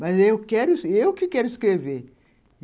Mas eu quero eu que quero escrever.